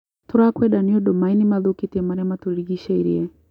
Tũrakwenda nĩũndũ maĩ nĩmathũkĩtie maria matũrigicĩirie.